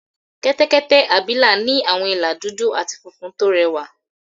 Kẹ́tẹ́kẹ́tẹ́ abìlà ní àwọn ìlà dúdú àti funfun tó rẹwà